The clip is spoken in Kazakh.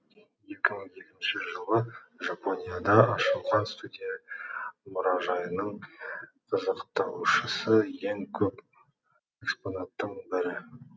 екі мың екінші жылы жапонияда ашылған студия мұражайының қызықтаушысы ең көп экспонаттың бірі